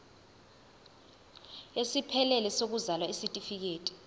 esiphelele sokuzalwa isitifikedi